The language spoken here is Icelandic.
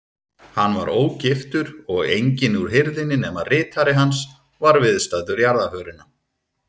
Hann var ógiftur og enginn úr hirðinni nema ritari hans var viðstaddur jarðarförina.